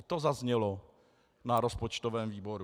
I to zaznělo na rozpočtovém výboru.